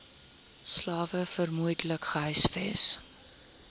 slawe vermoedelik gehuisves